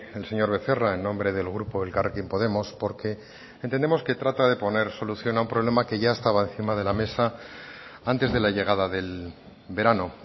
el señor becerra en nombre del grupo elkarrekin podemos porque entendemos que trata de poner solución a un problema que ya estaba encima de la mesa antes de la llegada del verano